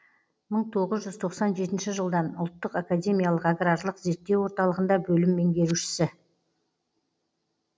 мың тоғыз жүз тоқсан жетінші жылдан ұлттық академиялық аграрлық зерттеу орталығында бөлім меңгерушісі